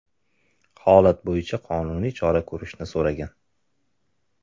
holat bo‘yicha qonuniy chora ko‘rishni so‘ragan.